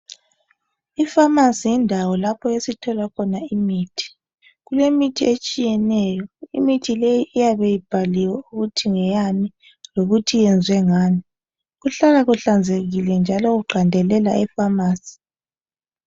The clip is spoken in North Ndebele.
I"pharmacy" yindawo lapho esithola khona imithi. Kulemithi etshiyeneyo, imithi leyi iyabe ibhaliwe ukuthi ngeyani lokuthi iyenzwe ngani. Kuhlala kuhlanzekile njalo kuqandelela e"pharmacy".